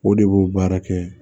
O de b'o baara kɛ